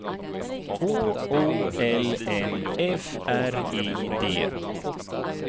H O L M F R I D